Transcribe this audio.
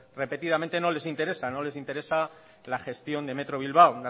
repetidamente no les interesa no les interesa la gestión de metro bilbao